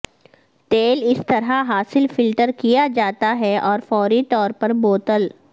تیل اس طرح حاصل فلٹر کیا جاتا ہے اور فوری طور پر بوتل